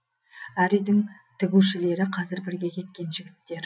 әр үйдің тігушілері қазір бірге кеткен жігіттер